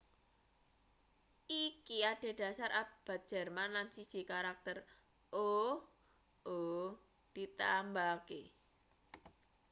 iki adhedhasar abjad jerman lan siji karakter õ/õ ditambahake